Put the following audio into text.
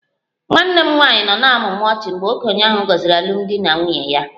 Nwanne m nwanyị nọ na-amụmụ ọnụ ọchị mgbe okenye ahụ gọziri alụmdi na nwunye ya